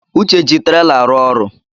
Uche ji trela arụ ọrụ